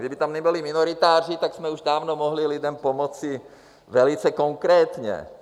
Kdyby tam nebyli minoritáři, tak jsme už dávno mohli lidem pomoci velice konkrétně.